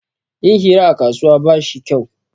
Yin hira a kasuwa ba shi kyau